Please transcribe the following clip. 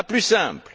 la plus simple